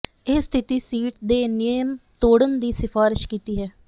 ਇਹ ਸਥਿਤੀ ਸ਼ੀਟ ਦੇ ਨਿਯਮ ਤੋੜਨ ਦੀ ਸਿਫਾਰਸ਼ ਕੀਤੀ ਹੈ